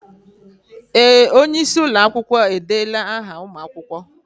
Ee! Onye isi ụlọ akwụkwọ edeela áhà ụmụ akwụkwọ.